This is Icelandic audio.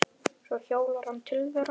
Svo hjólar hann til þeirra.